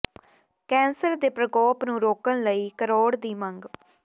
cancer ਦੇ ਪ੍ਰਕੋਪ ਨੂੰ ਰੋਕਣ ਲਈ ਕਰੋੜ ਦੀ ਮੰਗ